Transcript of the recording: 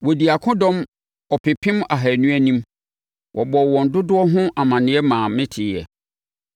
Wɔdii akodɔm ɔpepem ahanu anim. Wɔbɔɔ wɔn dodoɔ no ho amaneɛ maa meteeɛ.